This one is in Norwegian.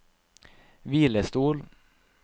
hvilestol